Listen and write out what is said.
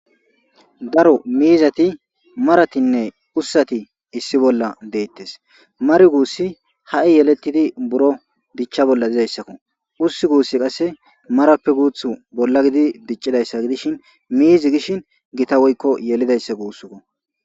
daro miizati maratinne ussati issi bolla deettes mari guussi ha7i yelettidi buro dichcha bolla dizayssakko ussi guussi qasse marappe guuth bolla gidi diccidayssa gidishin miizi gishin gita woykko yelidayssa guussiko